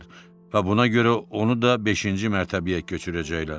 və buna görə onu da beşinci mərtəbəyə köçürəcəklər.